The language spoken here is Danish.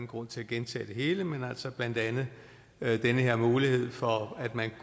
grund til at gentage det hele blandt andet den her mulighed for at man